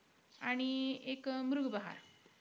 आणि एक अं मृग बहार.